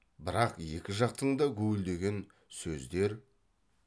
бірақ екі жақтың да гуілдеген сөздер